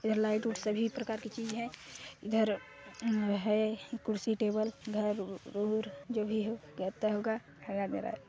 इधर लाइट उत् सभी प्रकार की चीज है इधर है कुर्सी टेबल घर उर जो भी है गेता होगा--